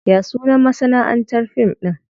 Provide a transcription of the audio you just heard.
Ya sunan masanaʼantar fim ɗin?